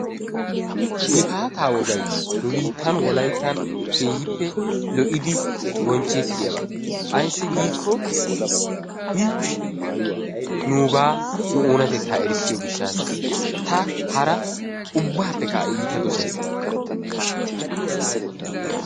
Gifaataa woogay nu biittan wolaytta keehippe lo"iidi bonchchettiyaaba. Ayssi giikko i nugaa nu oonnatettaa erissiyoo giishshatasa. Ta hara ubbaapekka a iita doosays.